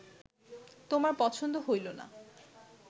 তোমার পছন্দ হইল না